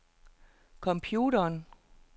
computeren